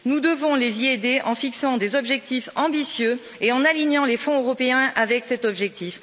Nous devons les y aider en fixant des objectifs ambitieux et en alignant les fonds européens avec cet objectif.